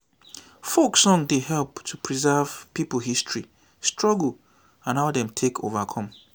folk song dey help to preserve pipo history struggle and how dem take overcome